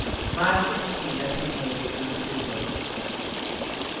Markens kyla tränger in genom sulorna.